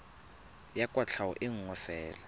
ya kwatlhao e nngwe fela